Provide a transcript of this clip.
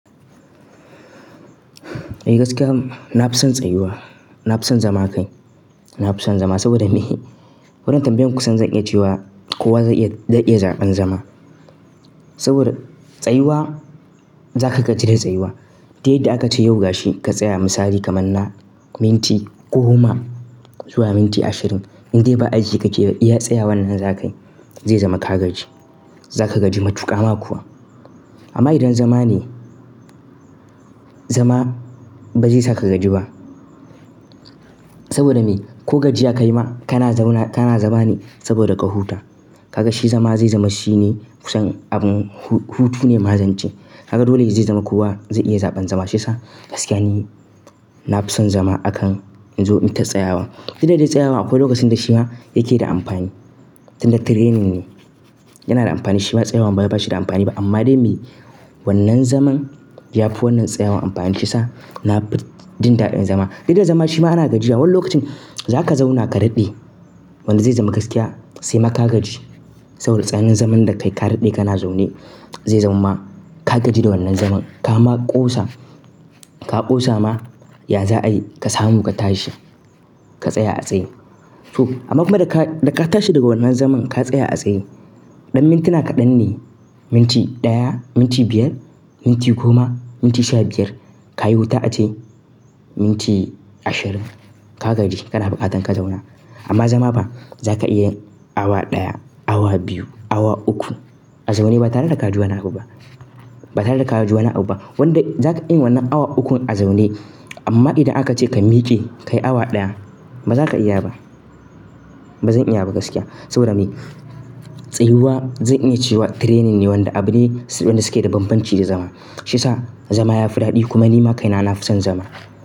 Eh gaskiya, na fi son tsayuwa. Na fi son zama kai. Na fi son zama saboda me? Wannan tambayan kusan zan iya cewa kowa zai iya zaɓan zama. Saboda tsayuwa, za ka gaji da tsayuwa. Duk yadda aka ce yau ga shi ka tsaya misali kamar na minti goma zuwa minti ashirin. In dai ba aiki ka ke ba, iya tsaya wannan zakai, zai zama ka gaji. Za ka gaji matuƙa ma kuwa. Amma idan zama ne, zama ba zai sa ka gaji ba. Saboda me? Ko gajiya ka yi ma, kana zauna kana zama ne saboda ka huta. Ka ga shi zama zai zama shine kusan abun hutu ne ma zance. Ka ga dole zai zama kowa zai iya zaɓan zama. Shiyasa gaskiya ni, na fi son zama akan in zo in ta tsayawa. Duk da dai tsayawan akwai lokacin da shi ma yake da amfani. Tin da training ne, yana da amfani. Shi ma tsayawan ba wai ba shi da amfani ba. Amma dai me wannan zaman ya fi wannan tsayawan amfani, shiyasa na fi jin daɗin zama. Duk da zama shi ma ana gajiya, wani lokacin za ka zauna ka daɗe, wanda zai zama gaskiya sai ma ka gaji. Saboda tsanin zaman da ka yi, ka daɗe kana zaune zai zama ma ka gaji da wannan zaman. Ka ma ƙosa, ka ƙosa ma, ya za a yi ka samu ka tashi, ka tsaya a tsaye. To amma kuma da ka tashi daga wannan zaman ka tsaya a tsaye, ɗan mintuna kaɗan ne. Minti ɗaya, minti biyar, minti goma, minti sha biyar. Ka yi wuta ace minti ashirin, ka gaji. Kana buƙatan ka zauna. Amma zama fa, za ka iya yin awa ɗaya, awa biyu, awa uku a zaune ba tare da ka ji wani abu ba. Ba tare da ka ji wani abu ba. Wanda za ka iya wannan awa ukun a zaune. Amma idan aka ce ka miƙe, ka yi awa ɗaya, ba za ka iya ba. Ba zan iya ba gaskiya. Saboda me? Tsayuwa zan iya cewa training ne wanda abune wanda suke da banbanci da zama. Shi ya sa zama ya fi daɗi kuma ni ma kai na, na fi son zama.